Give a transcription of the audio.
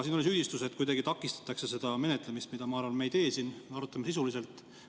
Siin oli süüdistus, et kuidagi takistatakse seda menetlemist, aga ma arvan, et me ei tee seda siin, me arutame sisuliselt.